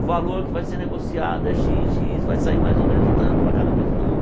O valor que vai ser negociado é xis, xis, vai sair mais ou menos tanto para cada pessoa.